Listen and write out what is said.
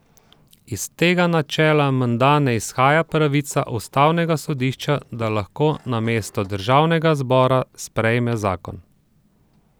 Iz tega načela menda ne izhaja pravica ustavnega sodišča, da lahko namesto državnega zbora sprejme zakon.